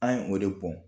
An ye o de bɔn